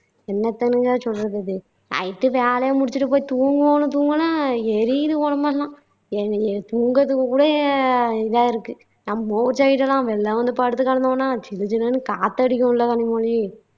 என்னத்த்னுங்க சொல்றது இது night உ வேலையை முடிச்சுட்டு போயி தூங்குவோம்னு தூங்குனா எரியுது உடம்பெல்லாம் தூங்குறதுக்கு கூட இதா இருக்கு நம்ம ஊரு side எல்லாம் வெளியில வந்து படுத்துக்கிடந்தோம்னா ஜில்லு ஜில்லுன்னு காத்து அடிக்குமுல்ல கனிமொழி